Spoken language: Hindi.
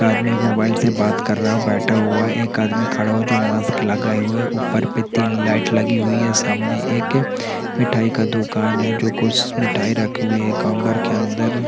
एक आदमी मोबाइल से बात कर रहा है बैठा हुआ है एक आदमी खड़ा हुआ है जो मास्क लगाए हुवे है ऊपर पे तीन लाइट लगी हुई है सामने एक मिठाई का दुकान है जो कुछ मिठाई रखी हुई ही काउंटर के अंदर।